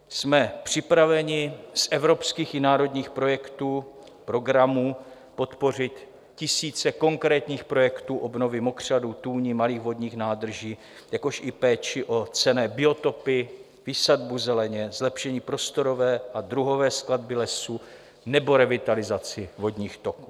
Jsme připraveni z evropských i národních projektů, programů podpořit tisíce konkrétních projektů obnovy mokřadů, tůní, malých vodních nádrží, jakož i péči o cenné biotopy, výsadbu zeleně, zlepšení prostorové a druhové skladby lesů nebo revitalizaci vodních toků.